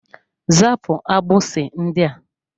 Zapụ agbisi ndị a!